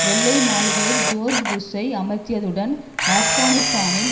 வெள்ளை மாளிகையில் ஜோர்ஜ் புஷ்ஷை அமர்ந்தியதுடன் ஆப்கானிஸ்தானில்